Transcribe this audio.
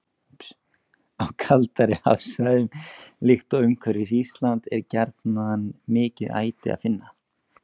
Á kaldari hafsvæðum, líkt og umhverfis Ísland, er gjarnan mikið æti að finna.